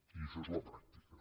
i això és la pràctica